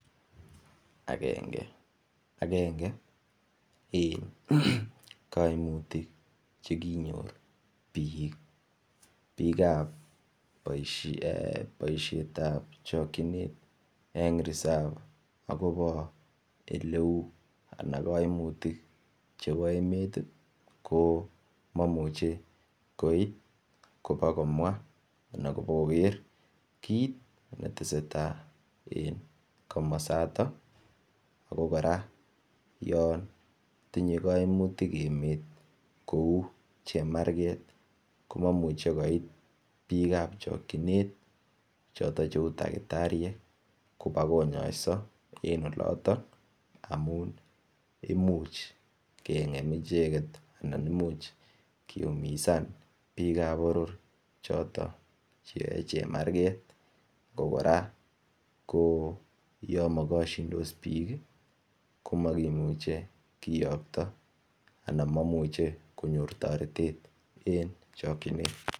Agenge en kaimutik Che kinyor bikab boisietab chokyinet en resop oleu kaimutik chebo emet ko cheu maimuche koib koba koker anan kobakomwa kit ne tesetai en komasato ago kora yon tinye kaimutik emet kou chemarget ko maimuchi komwa koit bikap chokyinet kou takitariek koba konyoiso en oloto amun imuch kengem icheget anan Imuch kiumisan bikap boror choton Che yae chemarget ago kora ko yomokosyindos bik ii ko maimuch kiyokto ako maimuche konyor toretet en chokyinet.